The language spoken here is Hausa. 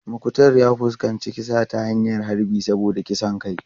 Muktar ya fuskanci kisa ta hanyar harbi saboda kisan kai.